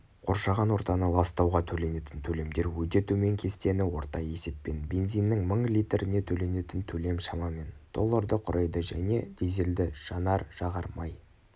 қоршаған ортаны ластауға төленетін төлемдер өте төмен кестені орта есеппен бензиннің мың литріне төленетін төлем шамамен долларды құрайды және дизельді жанар-жағар май